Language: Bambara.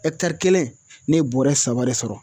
ɛkitari kelen ne ye bɔrɛ saba de sɔrɔ